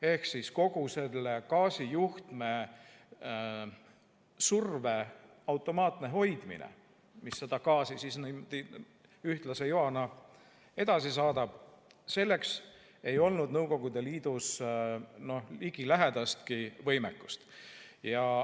Ehk kogu selle gaasijuhtme survet tuli automaatselt hoida nii, et see saadaks gaasi ühtlase joana edasi, aga selleks ei olnud Nõukogude Liidus ligilähedastki võimekust.